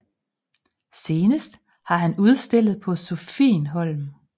Senest har han udstillet på Sophienholm